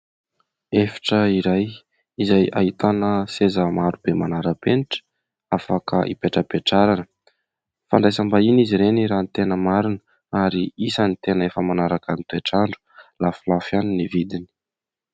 efitra iray izay ahitana seza maro be manarapenitra afaka hipetrapetrarana fandraisam-bahiany izy ireny raha ny tena marina ary isany tena efa manaraka ny toetrandro lafilafy ihany ny vidiny